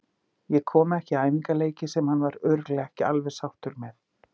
Ég kom ekki í æfingaleiki sem hann var örugglega ekki alveg sáttur með.